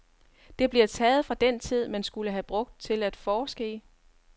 Det bliver taget fra den tid, man skulle have brugt til at forske i.